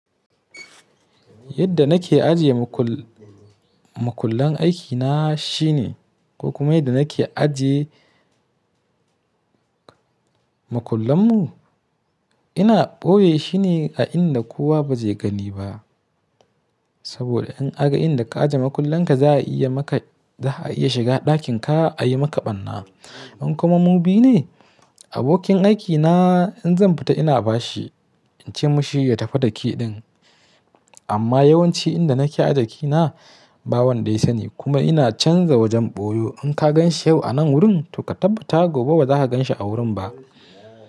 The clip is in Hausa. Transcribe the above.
Yadda nake ajiye makullan aikina shine, ko kuma yadda nake ajiye makullanmu, ina boye shi ne a inda kowa ba zai gani ba. Saboda in aka ga inda ka ajiye makullan ka za a iya maka, za a iya shiga ɗakin ka a yi maka ɓarna. In kuma mu bi ne, abokin aikina in zan fita ina ba shi, in ce mashi ya tafi da key ɗin. Amma yawanci inda nake ajiye ke na ba wanda ya sani kuma ina canza wajen boyo. In ka gan shi yau a nan wurin to ka tabbata gobe ba za ka gan shi a wurin ba.